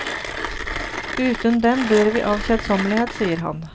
Uten dem dør vi av kjedsommelighet, sier han.